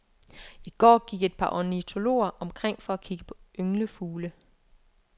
I går gik et par ornitologer omkring for at kigge på ynglefugle.